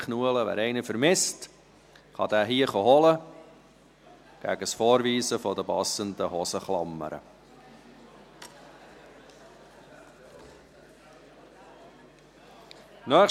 Wer einen Veloschlüssel vermisst, kann ihn gegen Vorweisen der passenden Hosenklammern hier abholen.